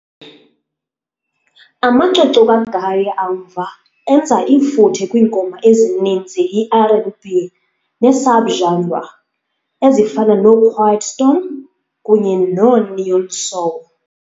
Amacwecwe kaGaye amva enza ifuthe kwiingoma ezininzi iR and B neesubgenre, ezifana noquiet storm kunye noneo-soul.